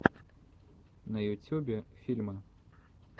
на ютюбе фильмы